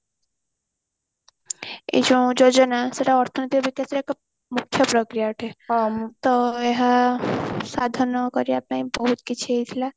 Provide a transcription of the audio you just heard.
ଏ ଯୋଉ ଯୋଜନା ସେଟା ଅର୍ଥନୈତିକ ବିକାଶର ଏକ ମୁଖ୍ୟ ପକ୍ରିୟା ଅଟେ ତ ଏହା ସାଧନ କରିବା ପାଇଁ ବହୁତ କିଛି ହେଇଥିଲା